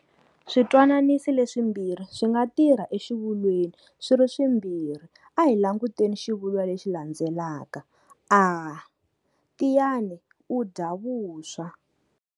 Switwananisi leswimbirhi swi nga tirha exivulweni swi ri swi mbirhi a hi languteni xivulwa lexi landelaka-a, Tiyani u dya vuswa.